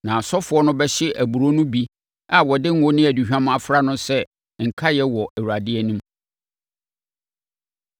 Na asɔfoɔ no bɛhye aburoo no bi a wɔde ngo ne aduhwam afra no sɛ nkaedeɛ wɔ Awurade anim.